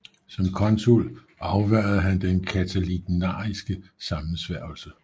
Som consul afværgede han den catilinariske sammensværgelse